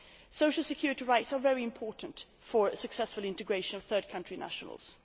Social security rights are very important for the successful integration of third country nationals.